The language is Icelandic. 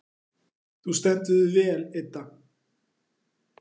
Þú stendur þig vel, Idda!